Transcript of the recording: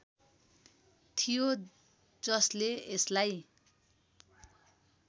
थियो जसले यसलाई